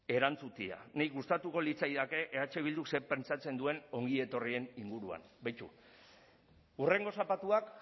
erantzutea niri gustatuko litzaidake eh bilduk zer pentsatzen duen ongietorrien inguruan beitu hurrengo zapatuak